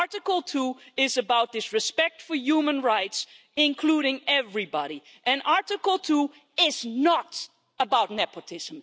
Article 2 is about respect for human rights, including everybody, and Article 2 is not about nepotism.